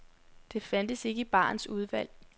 Det fandtes ikke i barens udvalg.